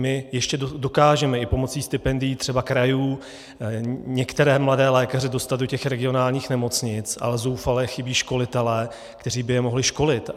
My ještě dokážeme i pomocí stipendií třeba krajů některé mladé lékaře dostat do těch regionálních nemocnic, ale zoufale chybí školitelé, kteří by je mohli školit.